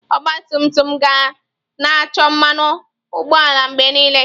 Ọgba tum tum ga na-achọ mmanụ ụgbọala mgbe niile.